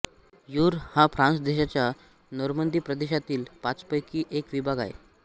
your हा France देशाच्या Normandy प्रदेशातील पाचपैकी एक विभाग आहे